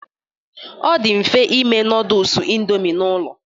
Ọ dị mfe ime noodles Indomi n'ụlọ